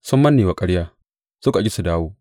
Sun manne wa ƙarya; suka ƙi su dawo.